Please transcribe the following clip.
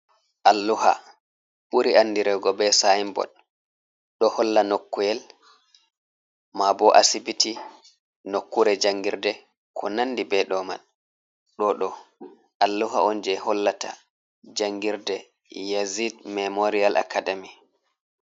Alluha ɓuri andirego be sinbod, ɗo holla noku’el, ma bo asibiti, nokkure jangirde, ko nandi be ɗo man, ɗo ɗo alluha on je hollata jangirde yazid memorial academy.